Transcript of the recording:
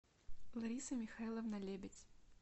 лариса михайловна лебедь